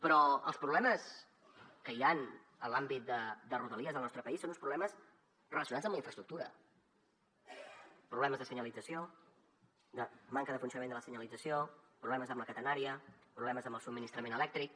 però els problemes que hi han en l’àmbit de rodalies al nostre país són uns problemes relacionats amb la infraestructura problemes de senyalització de manca de funcionament de la senyalització problemes amb la catenària problemes amb el subministrament elèctric